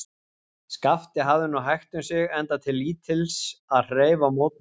Skapti hafði nú hægt um sig, enda til lítils að hreyfa mótmælum.